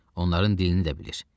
Onların dilini də bilir.